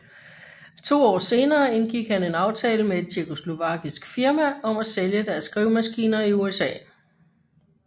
To år senere indgik han en aftale med et tjekkoslovakisk firma om at sælge deres skrivemaskiner i USA